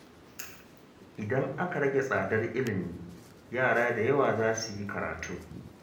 Idan aka rage tsadar ilimi, yara da yawa za su yi karatu